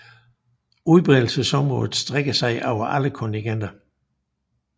Udbredelsesområdet strækker sig over alle kontinenter